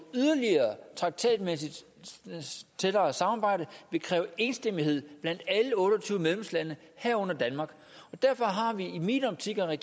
yderligere traktatmæssigt tættere samarbejde vil kræve enstemmighed blandt alle otte og tyve medlemslande herunder danmark og derfor har vi i min optik og i